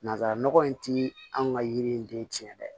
Nanzara nɔgɔ in ti an ka yiri in den tiɲɛ dɛ